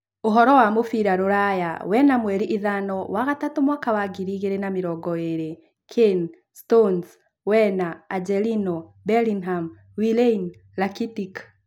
Ũhoro wa mũbira rũraya wena mweri ithano wagatatũ mwaka wa ngiri igĩrĩ na mĩrongo ĩĩrĩ: Kane, Stones, Werner, Angelino, Bellingham, Willian, Rakitic